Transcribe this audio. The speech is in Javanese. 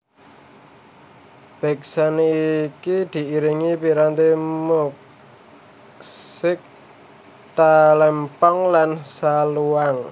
Beksan iki diiringi piranti musik Talempong lan Saluang